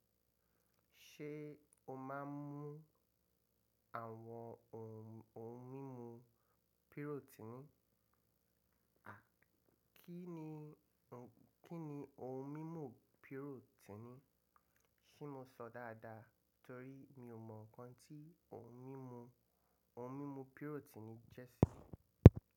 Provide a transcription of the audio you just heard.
Ṣé o máa ń mú àwọn ohùn ohùn mímú pírótínì? À, kí ni ohùn, kí ni ohùn mímú pírótínì? Ṣé mọ sọ dáadáa torí mi ò mọ nǹkan tí ohùn mímú, ohùn mímú pírótínì jẹ́ ṣí.